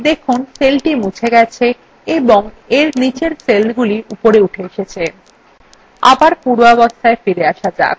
দেখুন cellthe মুছে গেছে এবং এর নীচের cellগুলি উপরে উঠে এসেছে